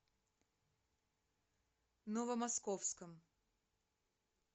новомосковском